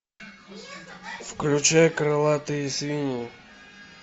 включай крылатые свиньи